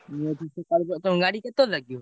ମୁଁ ଏଠୁ ସକାଳୁ ତମ ଗାଡି କେତବେଳେ ଲାଗିବ?